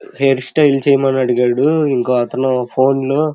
Hair style చేయమని అడిగాడు ఇంకోతను ఫోన్ లో.